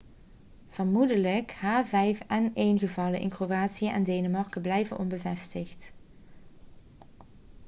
vermoedelijke h5n1-gevallen in kroatië en denemarken blijven onbevestigd